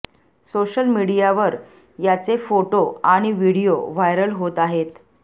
social मीडियावर याचे photo आणि व्हिडाओ व्हायरल होत आहेत